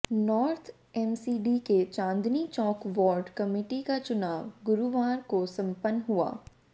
north MCD के Chandni Chowk ward committee का चुनाव गुरुवार को संपन्न हुआ